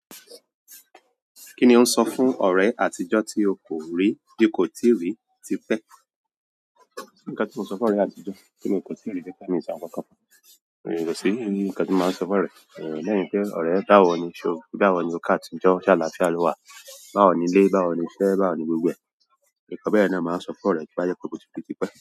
Kí ni o ń sọ fún ọ̀rẹ́ àtijọ́ tí o kò rí, tí o kò tíì rí tipẹ́. Kí ni ìṣọ̀wọ̀kan. Òye lọ sórí, kí ni nǹkan tí mo máa ń sọ fún ọ̀rẹ́, lẹ́yìn pé ọ̀rẹ́ báwo ni iṣẹ́, báwo ni, o kú àtijọ́, ṣá láti ṣá ló wà, báwo ni ilé, báwo ni iṣẹ́, báwo ní gbogbo ẹ̀? Nǹkan bẹ́yẹn náà n máa ń sọ fọ́'rẹ̀ẹ́ tó bá jẹ́ pé mo ti ri tipẹ́